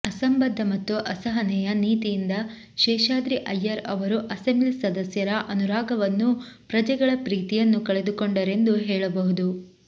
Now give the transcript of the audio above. ಅಸಂಬದ್ಧ ಮತ್ತು ಅಸಹನೆಯ ನೀತಿಯಿಂದ ಶೇಷಾದ್ರಿ ಅಯ್ಯರ್ ಅವರು ಅಸೆಂಬ್ಲಿ ಸದಸ್ಯರ ಅನುರಾಗವನ್ನೂ ಪ್ರಜೆಗಳ ಪ್ರೀತಿಯನ್ನೂ ಕಳೆದುಕೊಂಡರೆಂದು ಹೇಳಬಹುದು